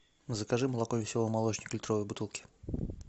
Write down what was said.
закажи молоко веселый молочник в литровой бутылке